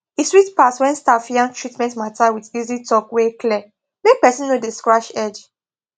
e sweet pass when staff yarn treatment matter with easy talk wey clear make person no dey scratch head